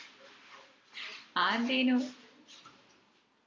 അതെന്തെനും